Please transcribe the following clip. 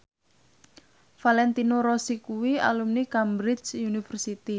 Valentino Rossi kuwi alumni Cambridge University